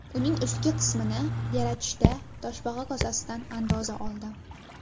Uning ustki qismini yaratishda toshbaqa kosasidan andoza oldim.